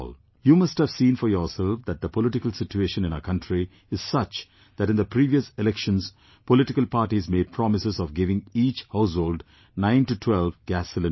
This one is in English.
You must have seen for yourself that the political situation in our country is such that in the previous elections political parties made promises of giving each household 9 to 12 gas cylinders